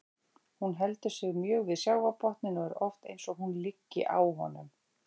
Hún heldur sig mjög við sjávarbotninn og er oft eins og hún liggi á honum.